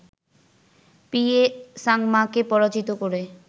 P A সাংমাকে পরাজিত করে